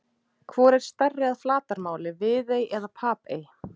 Hvor er stærri að flatarmáli, Viðey eða Papey?